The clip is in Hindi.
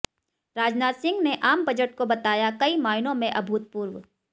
राजनाथ सिंह ने आम बजट को बताया कई मायनों में अभूतपूर्व